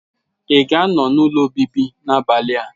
Ị ga-anọ n'ụlọ obibi n'abalị a?